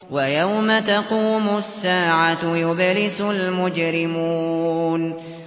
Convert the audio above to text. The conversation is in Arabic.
وَيَوْمَ تَقُومُ السَّاعَةُ يُبْلِسُ الْمُجْرِمُونَ